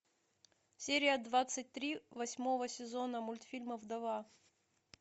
серия двадцать три восьмого сезона мультфильма вдова